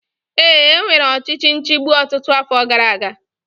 Ee, e nwere ọchịchị nchigbu ọtụtụ afọ gara aga